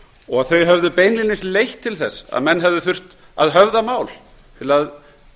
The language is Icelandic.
og að þau hefðu beinlínis leitt til þess að menn hefðu þurft að höfða mál til að